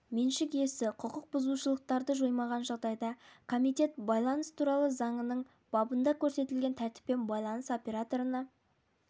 меншік иесі құқық бұзушылықтарды жоймаған жағдайда комитет байланыс туралы заңының бабында көрсетілген тәртіппен байланыс операторына